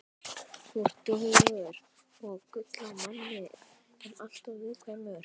Þú ert duglegur og gull af manni en alltof viðkvæmur.